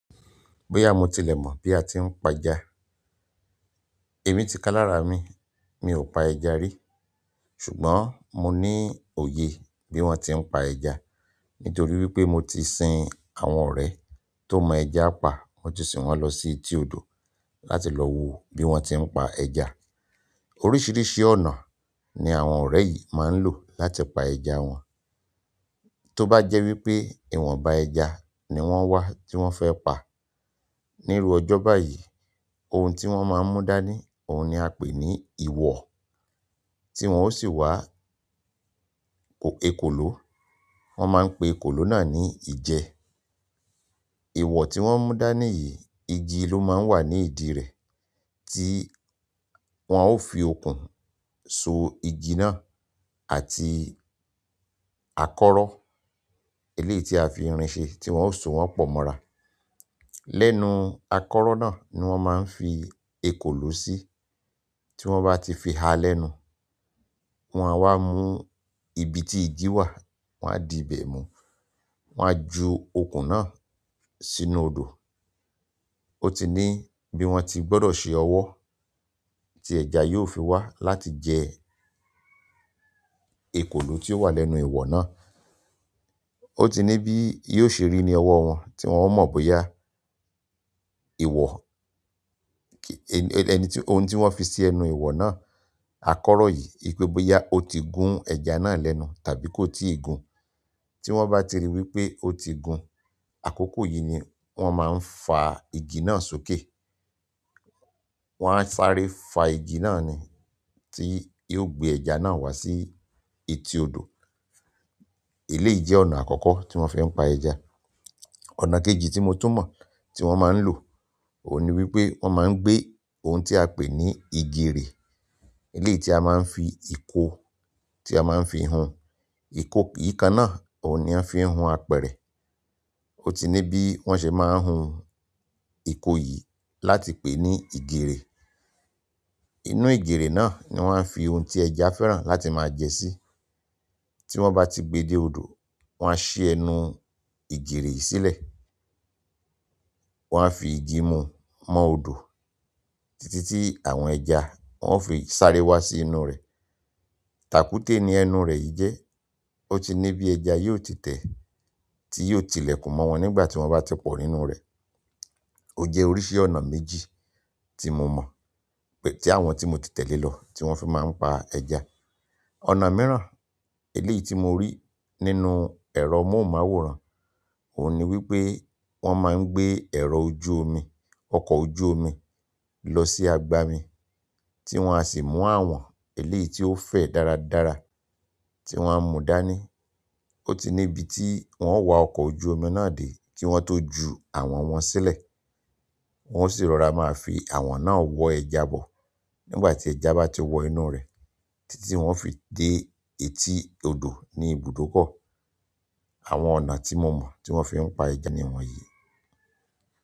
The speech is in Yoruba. Bóyá mo tilẹ̀ mọ̀ bí a ti ń pa ẹja. Èmi ti ká lára mi, mi ò pa ẹja rí. Ṣùgbọ́n mo ní òye bí wọ́n ti ń pa ẹja nítorí wí pé mo ti sin àwọn ọ̀rẹ́ tó mọ ẹja pa, wọ́n sì wọ́n lọ sí etí odò láti lọ wo bí wọ́n ti ń pa ẹja. Oríṣiríṣi ọ̀nà ni àwọn ọ̀rẹ́ yìí máa ń lò láti pa ẹja wọn. Tóbá jẹ́ wípé ìwọ̀nba ẹja ni wọ́n wá tí wọ́n fẹ́ pa, níru ọjọ́ báyìí, ohun tí wọ́n máa ń mú dání, òhun ni a pè ní ìwọ̀o. Tí wọ́n ó sì wá ekòló, wọ́n máa ń pe ekòló náà ní ìjẹ. Iwoo ti won mu dani yìí, igi lo maa n wa ni idi re, ti won o fi okun so. Igi náà àti akoro eleyi ti a fi irin se ti won o so won po mora. Lẹ́nu àkọ́rọ́ náà ni wọ́n máa ń fi ekòló sí. Tí wọ́n bá ti fi ha lẹ́nu, wọ́n á wá mú ibi tí igi wà, wọ́n á di bẹ̀ mú, wọ́n á ju okùn náà sínú odò. Ó ti ní bí wọ́n ti gbọ́dọ̀ ṣe ọwọ́ tí ẹ̀ja yóò fi wá láti jẹ ekòló tí ó wà lẹ́nu ìwọ̀ náà. Ó ti ní bí yóò ṣe rí ni ọwọ́ wọn tí wọ́n mọ̀ bóyá ìwọ̀ kí ẹni, ohun tí wọ́n fi ṣe ẹnu ìwọ̀ náà, àkọ́rọ́ yìí, wípé bóyá ó ti gun ẹja náà lẹ́nu tàbí kó tí gun. Tí wọ́n bá ti rí wípé ó ti gun, àkókò yìí ni wọ́n máa ń fa igi náà sókè. Wọ́n á sáré fa igi náà ni tí yóò gbé ẹja náà wá sí etí odò. Eléyìí jẹ́ ọ̀nà àkọ́kọ́ tí wọ́n fẹ́ ń pa ẹja. Ọ̀nà kejì tí mo tún mọ̀ tí wọ́n máa ń lò òhun ni wípé wọ́n máa ń gbé ohun tí a pè ní igirè, eléyìí tí a máa ń fi ìko tí a máa ń fi hun, ìko yìí kan náà òhun ni a fi ń hun apẹ̀rẹ̀. Ó ti ní bí wọ́n ṣe máa ń hun ìko yìí láti pè ní ìgirè. Inú ìgirè náà ni wọ́n á fi ohun tí ẹja fẹ́ràn láti máa jẹ sí. Tí wọ́n bá ti gbe dé odò, wọ́n á ṣí ẹnu ìgèrè yìí sílẹ̀. Wọ́n á fi igi mu mọ́ odò títí tí àwọn ẹja ó fi sáré wá sí inú rẹ̀. Tàkúté ni ẹnu rẹ̀ yìí jẹ́. Ó ti ní bí ẹja yóò ti tẹ́ tí yóò tilẹ̀kùn mọ́ wọn nígbà tí wọ́n bá ti pọ̀ nínú rẹ̀. Ó jẹ́ oríṣi ọ̀nà méjì tí mo mọ̀ pé tí àwọn tí mo ti tẹ̀lé lọ tí wọ́n fi máa ń pa ẹja. Ọ̀nà mìíràn eléyìí tí mo rí nínú ẹ̀rọ móhùnmáwòrán òhun ni wípé wọ́n máa ń gbé ẹ̀rọ ojú omi, ọkọ̀ ojú omi lọ sí agbami tí wọ́n á sì mú àwọn eléyìí tí ó fẹ̀ dáradára tí wọ́n á mú dání. Ó ti ní ibi tí wọ́n wá ọkọ̀ ojú omi náà dé kí wọ́n tó ju àwọn wọn sílẹ̀. Wọ́n ó sì rọra máa fi àwọn náà wọ ẹja bọ̀ nígbà tí ẹja bá ti wọ inú rẹ̀ títí tí wọ́n ó fi dé etí odò ní ibùdókọ̀. Àwọn ọ̀nà tí mo mọ̀ tí wọ́n fi ń pa ẹja ni wọn yìí.